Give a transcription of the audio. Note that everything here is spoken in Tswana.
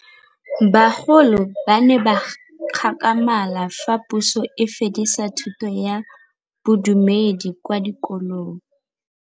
Bagolo ba ne ba gakgamala fa Pusô e fedisa thutô ya Bodumedi kwa dikolong.